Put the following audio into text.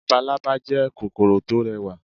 Labalálá jẹ́ kòkòrò tó rẹwà